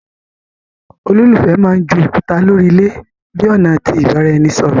Ololufẹ mán jù òkúta lórí ilé bi ọna ti ibaraẹnisọrọ